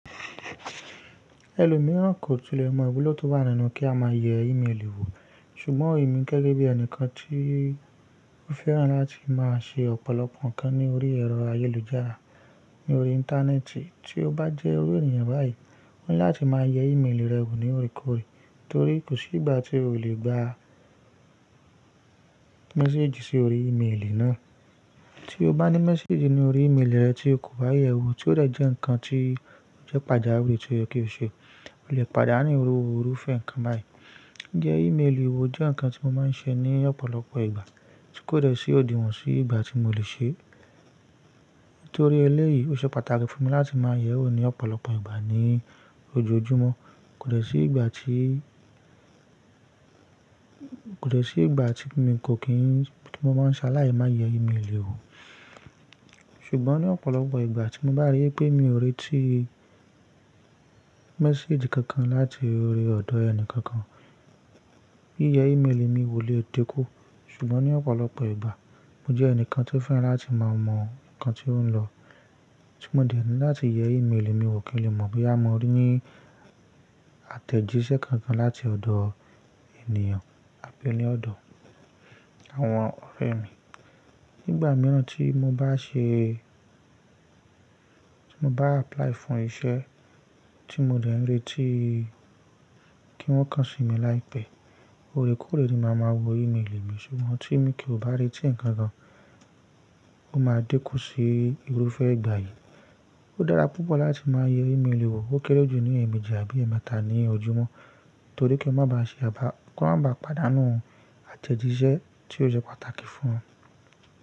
Ẹlòmíràn kò tilẹ̀ mọ̀ iwulo tó wá nínú kí a máa yẹ ímélì wò. Ṣùgbọ́n èmi gẹ́gẹ́ bí ẹnìkan tí ó fẹ́ràn láti máa ṣe ọ̀pọ̀lọpọ̀ nǹkan ní orí ẹ̀rọ ayélujára ní orí Íńtánẹ́ẹ̀tì, tí ó bá jẹ́ orí ènìyàn báyìí, wọ́n yá tí máa yẹ ímélì rẹ wò ní òrékòóré torí kò sí ìgbà tí o lè gba méséjì sí orí ímélì náà. Tí o bá ní méséjì ní orí ímélì rẹ tí o kò bá yẹ̀ ẹ́ wò, tí ó rẹ̀ jẹ́ ǹkan tí ó jẹ́ pàjáwìrì tí ó yẹ kí o ṣe, o lè pàdánù iruru ìfẹ́ ǹkan báyìí. Ǹjẹ́ ímélì wò jẹ́ ǹkan tí mo máa ń ṣe ní ọ̀pọ̀lọpọ̀ ìgbà, tí kò rẹ̀ sí òdiwọ̀n sí ìgbà tí mo lè ṣe. Nítorí eléyìí, ó ṣe pàtàkì fún mi láti máa yẹ òun ní ọ̀pọ̀lọpọ̀ ìgbà ní ojoojúmọ́. Kò rẹ̀ sí ìgbà tí, kò dẹ̀ sí ìgbà tí mi kò kín, tí mo máa ń ṣaláì máa yẹ ímélì wò. Ṣùgbọ́n ní ọ̀pọ̀lọpọ̀ ìgbà tí mo bá rí pé mi ò rẹ́tí méséjì kankan láti orí ọ̀dọ̀ ẹni kankan, yiyẹ ímélì mi wò lè dikun. Ṣùgbọ́n ní ọ̀pọ̀lọpọ̀ ìgbà, mo jẹ́ ẹnìkan tí ó fẹ́ràn láti máa mọ̀ ǹkan tí ó ń lọ. Tí mo dẹ̀ ń láti yẹ ímélì mi wò kì í lè mọ̀ bí a mọ ní àtẹ̀jíṣẹ́ kankan láti ọ̀dọ̀ ènìyàn àbí ní ọ̀dọ̀ àwọn ọ̀rẹ́ mi. Nígbà mìíràn tí mo bá ṣe, tí mo bá apply fún iṣẹ́ tí mo dẹ̀ ń retí kí wọ́n kan sí mi láìpẹ́. Ó rẹ́kọ̀ọ́rẹ́ ni màá ma wọ ímélì mi. Ṣùgbọ́n tí mi kò bá retí ǹkan kan, ó máa dẹ́kun sí ìrúfẹ́ ìgbà yìí. Ó dára púpọ̀ láti máa yẹ ímélì wò ó kéré jù ní èèmejì àbí ẹ̀ẹ̀mẹ́ta ní ojúmọ́ torí kí o má ba ṣe àbà, kí o má ba pàdánù àtẹ̀jíṣẹ́ tí ó ṣe pàtàkì fún ọ.